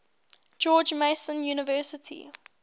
george mason university